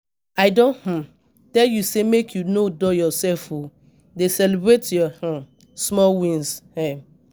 I don um tell you say make you no dull yourself o, dey celebrate your um small wins. um